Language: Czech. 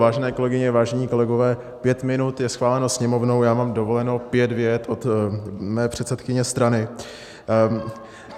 Vážené kolegyně, vážení kolegové, pět minut je schváleno Sněmovnou, já mám dovoleno pět vět od mé předsedkyně strany.